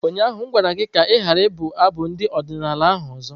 Ụnyaahụ m gwara gị ka ị ghara ibụkwa abụ ndị odinala ahu ọzọ!